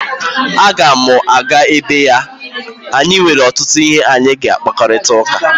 A ga'm-aga ebe ya anyị nwere ọtụtụ ihe anyị ga-akparịta ụka